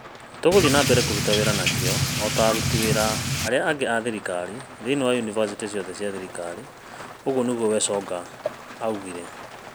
"Tũgũthiĩ na mbere na kũruta wĩra na kĩyo o ta aruti wĩra arĩa angĩ a thirikari thĩinĩ wa yunivasĩtĩ ciothe cia thirikari", ũguo nĩguo Wasonga oigire.